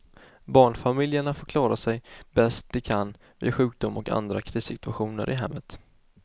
Barnfamiljerna får klara sig bäst de kan vid sjukdom och andra krissituationer i hemmet.